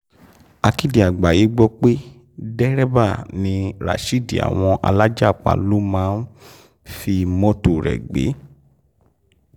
akéde àgbáyé gbọ́ pé dẹ́rẹ́bà ni rasheed àwọn alájàpá ló máa ń fi mọ́tò rẹ̀ gbé